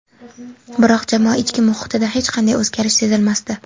Biroq jamoa ichki muhitida hech qanday o‘zgarish sezilmasdi.